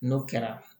N'o kɛra